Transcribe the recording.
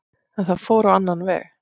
En það fór á annan veg.